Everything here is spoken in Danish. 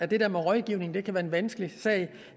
det der med rådgivning kan være en vanskelig sag